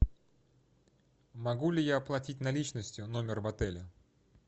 могу ли я оплатить наличностью номер в отеле